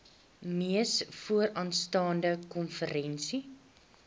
mees vooraanstaande konferensie